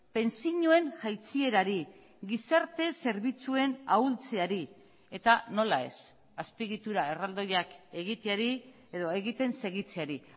pentsioen jaitsierari gizarte zerbitzuen ahultzeari eta nola ez azpiegitura erraldoiak egiteari edo egiten segitzeari